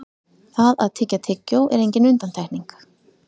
það að tyggja tyggjó er engin undantekning